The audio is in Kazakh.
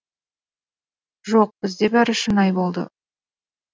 жоқ бізде бәрі шынайы болды